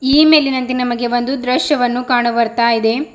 ಈ ಮೇಲಿನಂತೆ ನಮಗೆ ಒಂದು ದೃಶ್ಯವನ್ನು ಕಾಣು ಬರ್ತಾ ಇದೆ.